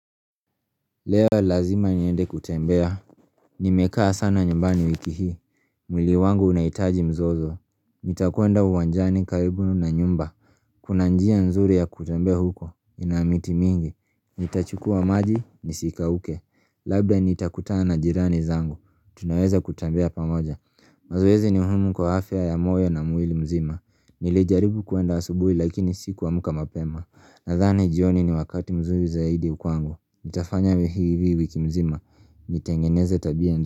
Leo lazima niende kutembea. Nimekaa sana nyumbani wiki hii. Mwili wangu unahitaji mzozo. Nitakwenda uwanjani karibu na nyumba. Kuna njia nzuri ya kutembea huko. Ina miti mingi. Nitachukua maji, nisikauke. Labda nitakutana na jirani zangu. Tunaweza kutembea pamoja. Mazoezi ni muhimu kwa afya ya moyo na mwili mzima. Nilijaribu kwenda asubuhi lakini sikuamka mapema. Nadhani jioni ni wakati mzuri zaidi kwangu. Nitafanya bidii hii wiki mzima Nitengeneze tabia.